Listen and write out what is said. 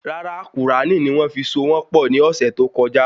Rárá Qùránì ni wón fi so wọn pọ ni ọsẹ tó kọjá